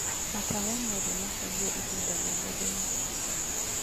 matawa mothe mahorioĩhĩnda rĩa mũthenya